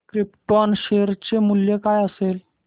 krypton share चे मूल्य काय असेल